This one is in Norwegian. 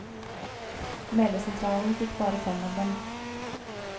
Meldesentralen fikk bare fem av dem.